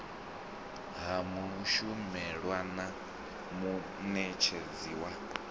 ha mushumelwa na munetshedzi wa